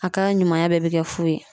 A ka ɲumanya bɛɛ be kɛ fu ye